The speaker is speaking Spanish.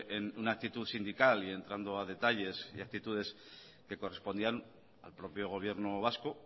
en una actitud sindical y entrando a detalles y actitudes que correspondían al propio gobierno vasco